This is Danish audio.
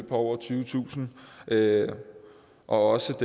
på over tyvetusind kr og også